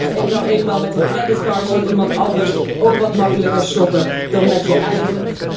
Je gaat nu eenmaal met een creditcard van iemand anders ook wat gemakkelijker shoppen dan met je eigen.